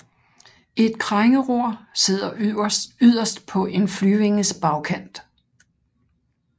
Et krængeror sidder yderst på en flyvinges bagkant